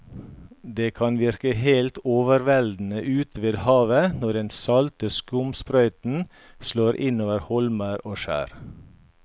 Det kan virke helt overveldende ute ved havet når den salte skumsprøyten slår innover holmer og skjær.